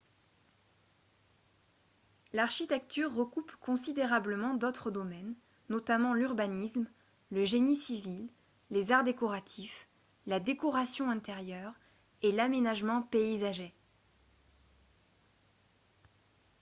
l'architecture recoupe considérablement d'autres domaines notamment l'urbanisme le génie civil les arts décoratifs la décoration intérieure et l'aménagement paysager